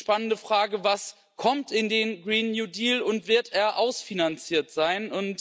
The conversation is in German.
Jetzt ist die spannende Frage Was kommt in den Green New Deal und wird er ausfinanziert sein?